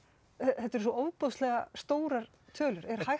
þetta eru svo ofboðslega stórar tölur er